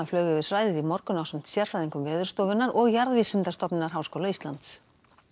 flaug yfir svæðið í morgun ásamt sérfræðingum Veðurstofunnar og Jarðvísindastofnunar Háskóla Íslands